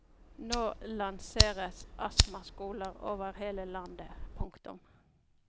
Nå lanseres astmaskoler over hele landet. punktum